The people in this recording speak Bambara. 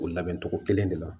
O labɛn cogo kelen de la